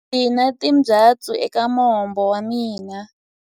Ndzi na timbyatsu eka mombo wa mina.